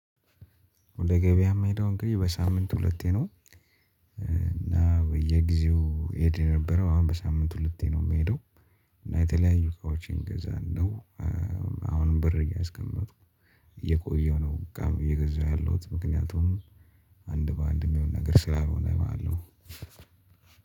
ወደ ገበያ የምሄደው እንግዲህ በሳምንት ሁለቴ ነው። እና በየጊዜው ሄደ የነበረው አሁን በሳምንቱ ልትሄድ ነው የምሄደው። እና የተለያዩ እቃዎችን ገዛ ነው። አሁንም ብር እያስቀመጥኩ የቆየው ነው። በቃ። የገዛሁት ምክንያቱም አንድ በአንድ የሚሆን ነገር ስላልሆነ ማለት ነው።